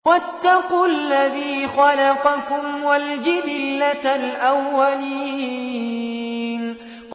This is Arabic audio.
وَاتَّقُوا الَّذِي خَلَقَكُمْ وَالْجِبِلَّةَ الْأَوَّلِينَ